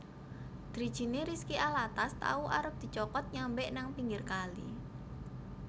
Drijine Rizky Alatas tau arep dicokot nyambek nang pinggir kali